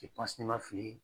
n'i ma fili